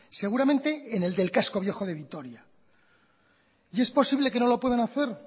seguramente en el del casco viejo de vitoria y es posible que no lo puedan hacer